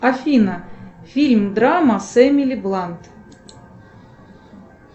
афина фильм драма с эмили блант